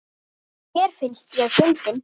Mér finnst ég fyndin.